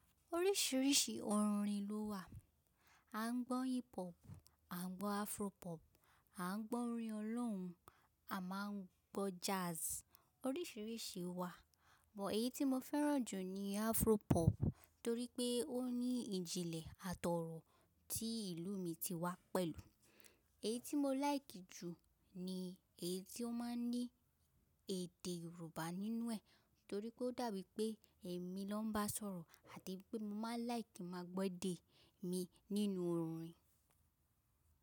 Oríṣiríṣi orin ló wà. A ń gbọ́ hip hop, a ń gbọ́ Afro pop, a ń gbọ́ orin ọlorun, a máa ń gbọ́ jazz. Oríṣiríṣi wà, but èyí tí mo fẹ́ràn jù ni Afro pop torí pé ó ní ìjìnlẹ̀ àtọ̀ọ̀rọ̀ tí ìlú mi ti wá pẹ̀lú. Èyí tí mo like jù ni èyí tí ó máa ń ní èdè Yorùbá nínú ẹ̀ torí pé ó dàbí pé èmi ló ń bá sọ̀rọ̀ àti pé mo máa ń like ki maa gbọ́ èdè mi nínú orin.